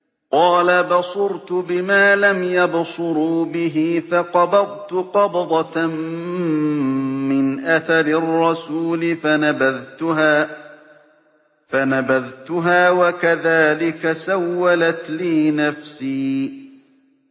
قَالَ بَصُرْتُ بِمَا لَمْ يَبْصُرُوا بِهِ فَقَبَضْتُ قَبْضَةً مِّنْ أَثَرِ الرَّسُولِ فَنَبَذْتُهَا وَكَذَٰلِكَ سَوَّلَتْ لِي نَفْسِي